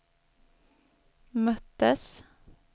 möttes